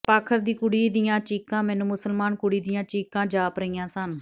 ਪਾਖਰ ਦੀ ਕੁੜੀ ਦੀਆਂ ਚੀਕਾਂ ਮੈਨੂੰ ਮੁਸਲਮਾਨ ਕੁੜੀ ਦੀਆਂ ਚੀਕਾਂ ਜਾਪ ਰਹੀਆਂ ਸਨ